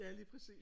Ja lige præcis